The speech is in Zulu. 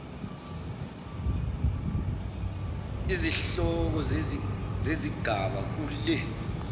izihloko zezigaba kule